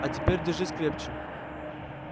а теперь держись крепче